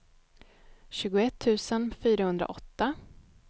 tjugoett tusen fyrahundraåtta